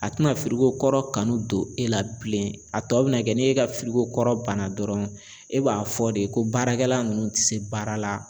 A tɛna fili ko kɔrɔ kanu don e la bilen a tɔ bina kɛ ni e ka fiko kɔrɔ banna dɔrɔn e b'a fɔ de ko baarakɛla nunnu ti se baara la